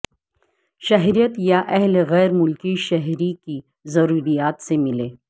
شہریت یا اہل غیر ملکی شہری کی ضروریات سے ملیں